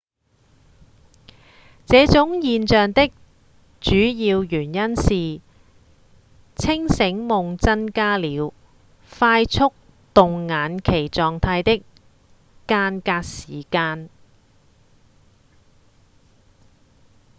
這種現象的主要原因是清醒夢增加了快速動眼期狀態的間隔時間